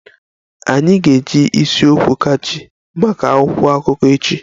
Anyị ga-eji isi okwu catchy maka akwụkwọ akụkọ echi